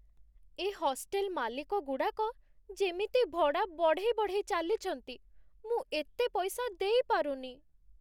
ଏ hostel ମାଲିକଗୁଡ଼ାକ ଯେମିତି ଭଡ଼ା ବଢ଼େଇ ବଢ଼େଇ ଚାଲିଛନ୍ତି, ମୁଁ ଏତେ ପଇସା ଦେଇପାରୁନି ।